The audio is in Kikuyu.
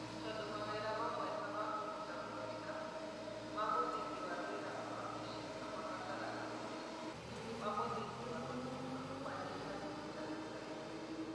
Tondũ mawĩra mamwe ta ma kũruta mawĩra ma mũthingi ma wĩra wa wabici no mabataraga ũhoti wa mũthingi wa gũthoma, kwandĩka na mũtaratara.